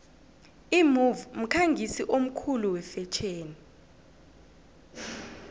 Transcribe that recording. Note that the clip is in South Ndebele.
imove mkhangisi omkhulu wefetjheni